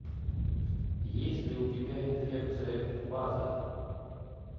есть ли у тебя инфекция фаза